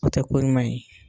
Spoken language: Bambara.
O tɛ ko ɲuman ye.